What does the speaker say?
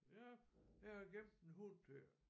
Ja jeg har gemt en hund til jer